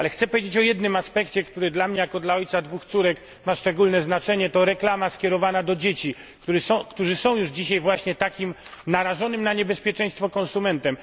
Ale chcę powiedzieć o jednym aspekcie, który dla mnie jako dla ojca dwóch córek ma szczególne znaczenie to reklama skierowana do dzieci, które są już dzisiaj właśnie takimi narażonymi na niebezpieczeństwo konsumentami.